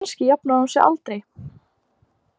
Kannski jafnar hún sig aldrei.